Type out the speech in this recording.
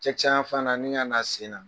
Cɛkisɛ yan fan na ni kana sen na.